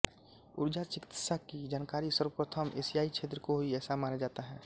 ऊर्जा चिकित्सा की जानकारी सर्वप्रथम एशियाई क्षेत्र को हुई ऐसा माना जाता है